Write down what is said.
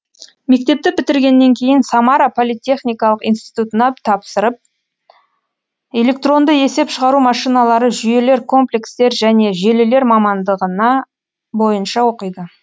мектепті бітіргеннен кейін самара политехникалық институтына тапсырып электронды есеп шығару машиналары жүйелер комплекстер және желілер мамандығына бойынша оқиды